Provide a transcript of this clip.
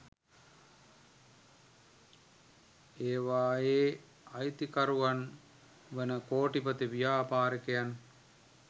ඒවායේ අයිතිකරුවන් වන කෝටිපති ව්‍යාපාරිකයන්